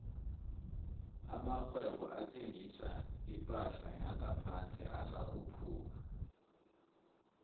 amakghwebo athengisa iphahla yangaphandle asakhula